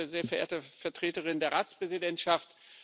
Sehr verehrte Vertreterin der Ratspräsidentschaft!